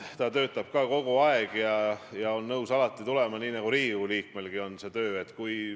Me oleme kinni jäänud kusagile aprilli- või märtsikuusse, kui valimistulemuste järel moodustati uus valitsus.